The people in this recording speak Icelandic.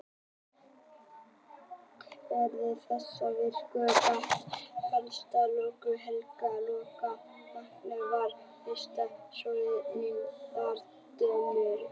Hvernig þessháttar víxlspor gat jafngilt vatnsbunu sem slökkti helgan loga vakningarinnar var vissulega torráðinn leyndardómur.